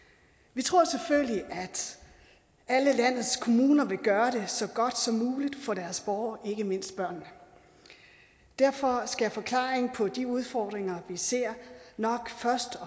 vi tror selvfølgelig at alle landets kommuner vil gøre det så godt som muligt for deres borgere ikke mindst børnene derfor skal forklaringen på de udfordringer vi ser nok først og